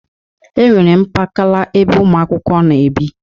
E nwere mpakala ebe ụmụakwụkwọ na-ebi.